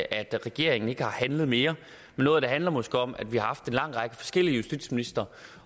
at regeringen ikke har handlet mere men noget af det handler måske om at vi har haft en lang række forskellige justitsministre